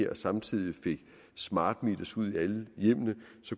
og samtidig får smart meters ud i alle hjemmene